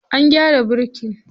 An gyara birkin?